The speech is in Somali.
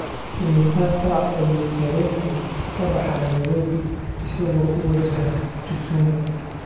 Imisa saac ayuu tareenku ka baxaa Nairobi isagoo ku wajahan Kisumu?